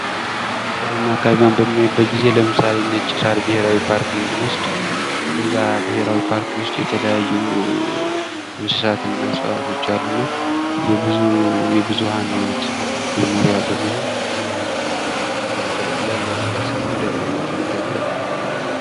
ተፈጥሮና አካባቢ በምናይበት ጊዜ ለምሳሌ ነጭ ሳር ብሔራዊ ፓርክ ብንወስድ በዛ ብሄራዊ ፓርክ ውስጥ የተለያዩ የብዙ የብዙሀን ህይወት መኖርያ በመሆን ያገለግላል ለህብረተሰቡ እንደ ገቢ ምንጭነት ያገለግላል።